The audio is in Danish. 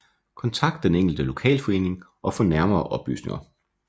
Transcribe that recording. Kontakt den enkelte lokalforening og få nærmere oplysninger